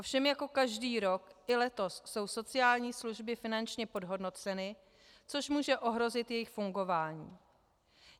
Ovšem jako každý rok, i letos jsou sociální služby finančně podhodnoceny, což může ohrozit jejich fungování.